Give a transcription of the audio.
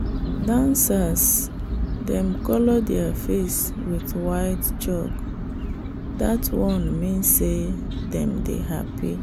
dancers dem colour their face with white chalk that one mean say dem dey happy.